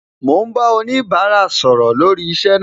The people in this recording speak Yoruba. Mo ń bá oníbárà sọ̀rọ̀ lórí iṣẹ́ náà